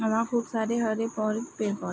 खूब सारे हरे --